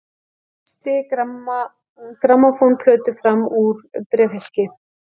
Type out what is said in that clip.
Hristi grammófónplötu fram úr bréfhylki.